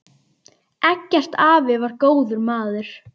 Eggert afi var góður maður.